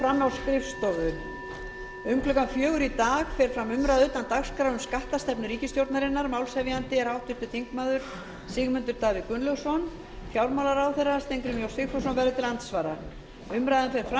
um klukkan fjögur í dag fer fram umræða utan dagskrár um skattastefnu ríkisstjórnarinnar málshefjandi er háttvirtur þingmaður sigmundur davíð gunnlaugsson fjármálaráðherra steingrímur j sigfússon verður til andsvara umræðan fer fram